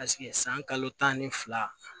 san kalo tan ni fila